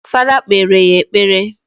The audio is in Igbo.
Fada kpere anyị ekpere